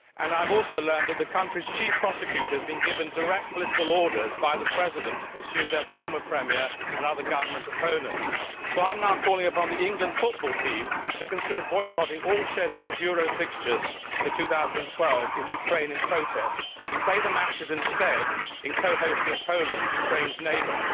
I have also learned that the country's Chief Prosecutor has been given direct political orders by the President to pursue their former Premier and other government opponents. So I am now calling upon the England football team to consider boycotting all scheduled Euro 2012 fixtures in Ukraine in protest and to play the matches instead in co hosting Poland, Ukraine's neighbour.